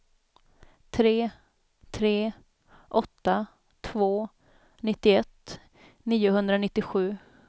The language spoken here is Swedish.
tre tre åtta två nittioett niohundranittiosju